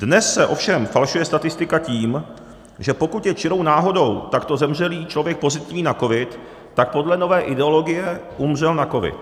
Dnes se ovšem falšuje statistika tím, že pokud je čirou náhodou takto zemřelý člověk pozitivní na covid, tak podle nové ideologie umřel na covid.